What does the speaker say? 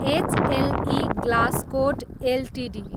HLE Glascoat Ltd